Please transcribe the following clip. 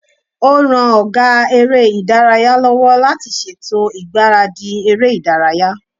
Ó ran ọgá eré ìdárayá lọ́wọ́ láti ṣètò ìgbáradì eré ìdárayá